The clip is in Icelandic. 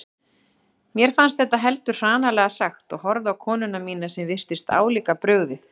Mér fannst þetta heldur hranalega sagt og horfði á konuna mína sem virtist álíka brugðið.